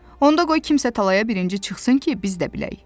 Onda qoy kimsə talaya birinci çıxsın ki, biz də bilək.